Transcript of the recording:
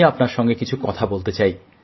আমি আপনার সঙ্গে কিছু কথা বলতে চাই